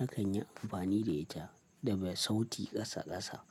na kan yi amfani da ita da bai sauti ƙasa ƙasa.